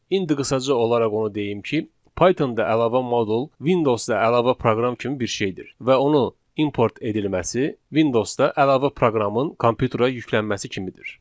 İndi qısaca olaraq onu deyim ki, Pythonda əlavə modul Windows-da əlavə proqram kimi bir şeydir və onu import edilməsi Windows-da əlavə proqramın kompüterə yüklənməsi kimidir.